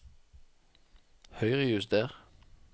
Høyrejuster